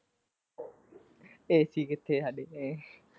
ac ਕਿੱਥੇ ਸਾਡੇ ਘਰੇ।